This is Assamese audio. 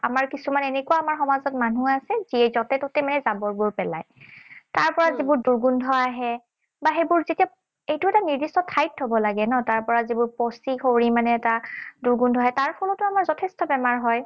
আমাৰ কিছুমান এনেকুৱা আমাৰ সমাজত মানু্হ আছে, যিয়ে যতে ততে মানে জাবৰবোৰ পেলায়। তাৰ পৰা যিবোৰ দুৰ্গন্ধ আহে, বা সেইবোৰ যেতিয়া এইটো এটা নিৰ্দিষ্ট ঠাইত থব লাগে ন? তাৰ পৰা যিবোৰ পচি কৰি মানে এটা দূৰ্গন্ধ আহে, তাৰ ফলতো আমাৰ যথেষ্ঠ বেমাৰ হয়।